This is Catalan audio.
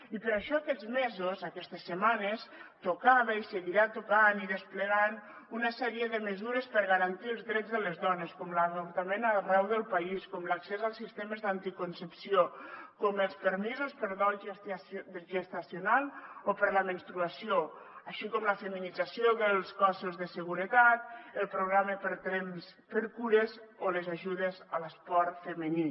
i per això aquests mesos aquestes setmanes tocava i seguirà tocant i desplegant una sèrie de mesures per garantir els drets de les dones com l’avortament arreu del país com l’accés als sistemes d’anticoncepció com els permisos per dol gestacional o per la menstruació així com la feminització dels cossos de seguretat el programa temps x cures o les ajudes a l’esport femení